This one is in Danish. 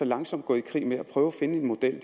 langsomt gået i krig med at prøve at finde en model